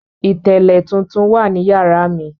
Ìtẹ́lẹ̀ tuntun wa ní yàrá mi.